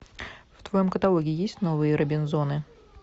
в твоем каталоге есть новые робинзоны